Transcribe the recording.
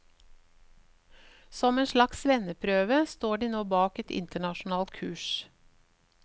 Som en slags svenneprøve står de nå bak et internasjonalt kurs.